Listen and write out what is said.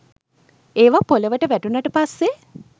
ඒවා පොළොවට වැටුණට පස්සේ